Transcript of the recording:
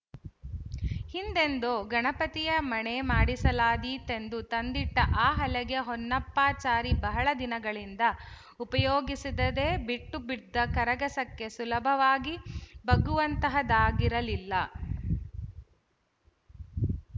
ಹಿಂದೆಂದೋ ಗಣಪತಿಯ ಮಣೆ ಮಾಡಿಸಲಾದೀತೆಂದು ತಂದಿಟ್ಟ ಆ ಹಲಗೆ ಹೊನ್ನಪ್ಪಾಚಾರಿ ಬಹಳ ದಿನಗಳಿಂದ ಉಪಯೋಗಿಸಿದದೇ ಬಿಟ್ಟು ಬಿದ್ದ ಕರಗಸಕ್ಕೆ ಸುಲಭವಾಗಿ ಬಗ್ಗುವಂತಹದಾಗಿರಲಿಲ್ಲ